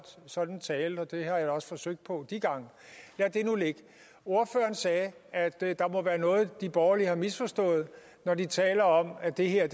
sådan en tale og det har jeg da også forsøgt på de gange lad det nu ligge ordføreren sagde at der der må være noget de borgerlige har misforstået når vi taler om at det her